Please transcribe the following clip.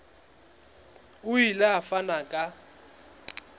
o ile a fana ka